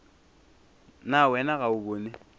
na wena ga o bone